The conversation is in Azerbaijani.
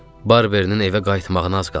Barbierein evə qayıtmağına az qalmışdı.